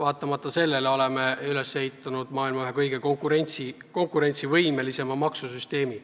Ja me oleme üles ehitanud maailma ühe kõige konkurentsivõimelisema maksusüsteemi.